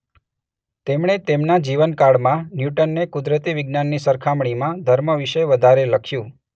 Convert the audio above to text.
તેમણે તેમના જીવનકાળમાં ન્યૂટનને કુદરતી વિજ્ઞાનની સરખામણીમાં ધર્મ વિશે વધારે લખ્યું.